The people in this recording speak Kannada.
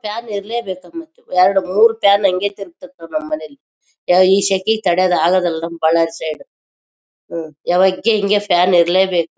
ಫ್ಯಾನ್ ಇರ್ಲೇ ಬೇಕು ಮತ್ತೆ ಎರಡ ಮೂರ್ ಫ್ಯಾನ್ ಹಂಗೆ ತಿರುಗುತ್ತದೆ ನಮ್ ಮನೇಲಿ ಈ ಶಕೆ ಗೆ ತಡಿಯೋಕ್ಕೆ ಆಗೋದಿಲ್ಲಾ ಬಹಳ ಹ್ಮ್ ಯಾವಾಗ್ ಹಿಂಗೇ ಫ್ಯಾನ್ ಇರ್ಲೇ ಬೇಕು